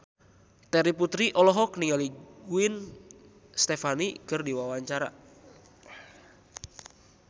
Terry Putri olohok ningali Gwen Stefani keur diwawancara